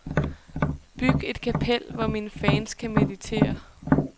Byg et kapel, hvor mine fans kan meditere.